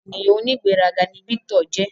Ènìyàn onigberaga ní Victor jẹ